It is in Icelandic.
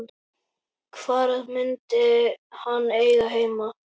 Hvar myndi hann eiga heima?